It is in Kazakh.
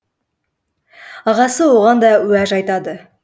ағасы оған да уәж айтады